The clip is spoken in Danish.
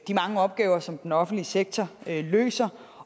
de mange opgaver som den offentlige sektor løser